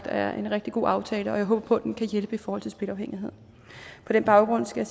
er en rigtig god aftale og jeg håber at den kan hjælpe i forhold til spilafhængighed på den baggrund skal